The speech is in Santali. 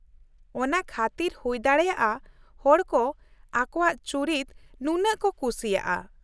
ᱚᱱᱟ ᱠᱷᱟᱹᱛᱤᱨ ᱦᱩᱭᱫᱟᱲᱮᱭᱟᱜᱼᱟ ᱦᱚᱲ ᱠᱚ ᱟᱠᱚᱣᱟᱜ ᱪᱩᱨᱤᱛ ᱱᱩᱱᱟᱹᱜ ᱠᱚ ᱠᱩᱥᱤᱭᱟᱜᱼᱟ ᱾